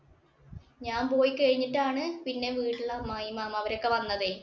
ഞാൻ പോയി കഴിഞ്ഞിട്ടാണ് പിന്നെ വീട്ടിലെ അമ്മായി, മാമാ ഇവരൊക്കെ വന്നത്.